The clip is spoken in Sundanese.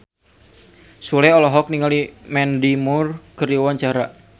Sule olohok ningali Mandy Moore keur diwawancara